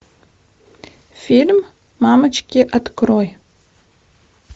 фильм мамочки открой